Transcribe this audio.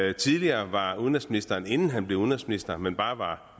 jo tidligere var udenrigsministeren inden han blev udenrigsminister men bare var